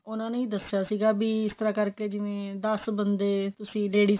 ਉਹਨਾਂ ਨੇ ਹੀ ਦਸਿਆ ਸੀਗਾ ਵੀ ਇਸ ਤਰ੍ਹਾਂ ਕਰਕੇ ਜਿਵੇਂ ਦਸ ਬੰਦੇ